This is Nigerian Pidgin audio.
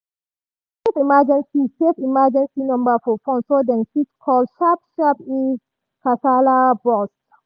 dem save emergency save emergency number for phone so dem fit call sharp-sharp if kasala burst.